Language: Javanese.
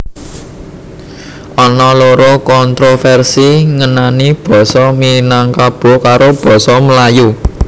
Ana loro kontroversi ngenani Basa Minangkabo karo basa Melayu